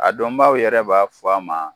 A dɔnbaaw yɛrɛ b'a fɔ a ma.